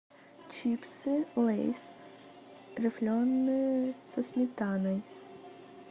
чипсы лейс рифленые со сметаной